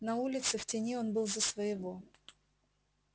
на улице в тени он был за своего